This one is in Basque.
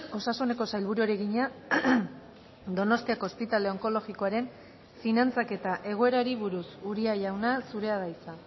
osasuneko sailburuari egina donostiako ospitale onkologikoaren finantzaketa egoerari buruz uria jauna zurea da hitza